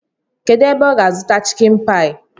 Kedụ ebe ọ ga-azụta chịkin paị?